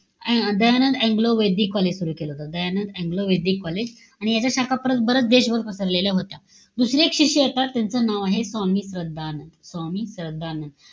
Dayanand Anglo Vedic college सुरु केलं होतं. Dayanand Anglo Vedic college. आणि याच्या शाखा परत बरच देशभर पसरलेल्या होत्या. दुसरे एक शिष्य येतात. त्यांचं नाव आहे स्वामी श्रद्धानंद. स्वामी श्रद्धानंद.